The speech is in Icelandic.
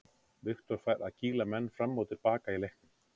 Viktor fær að kýla menn fram og til baka í leiknum.